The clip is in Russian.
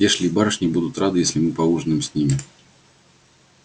эшли и барышни будут рады если мы поужинаем с ними